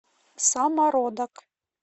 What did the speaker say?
самородок